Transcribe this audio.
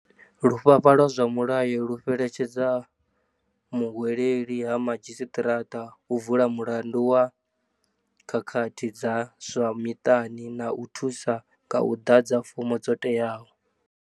Lufhafha lwa zwa mulayo lu fhelekedza muhweleli ha madzhisiṱiraṱa u vula mulandu wa khakhathi dza zwa miṱani na u thusa nga u ḓadza fomo dzo teaho.